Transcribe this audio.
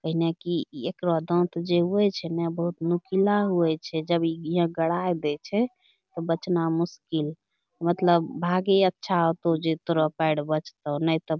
कैन्हे कि इ एकरो दाँत जे हुए छै न बहुत नुखिला हुए छै जब इ यें गड़ाय दै छै तअ बचना मुश्किल मतलब भागे अच्छा होतौ जे तोरो पैड़ बचतौ न तअ --